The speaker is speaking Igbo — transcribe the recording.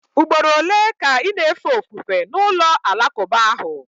Ugboro ole ka ị na-efe ofufe na ụlọ alakụba ahụ?